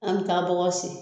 An ka bɔgɔ sen.